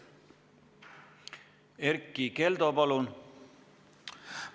Erkki Keldo, palun!